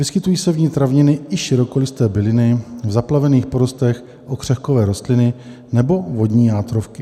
Vyskytují se v ní traviny i širokolisté byliny, v zaplavených porostech okřehkovité rostliny nebo vodní játrovky.